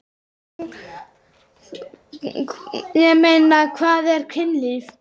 Ég meina, hvað er kynlíf?